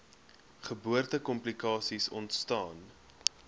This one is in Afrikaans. geboorte komplikasies ontstaan